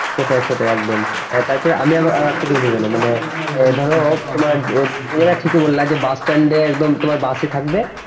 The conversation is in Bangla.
সেইটাই সেইটাই একদম তারপর আমি আর একটা কি বলছি মানে ধরো তুমি যেটা ঠিকই বল্লা যে বাসস্ট্যান্ড একদম বাস ই থাকবে